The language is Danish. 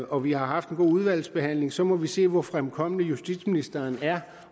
og vi har haft en god udvalgsbehandling så må vi se hvor fremkommelig justitsministeren er